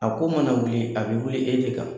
A ko mana wuli, a bɛ wuli e de kan.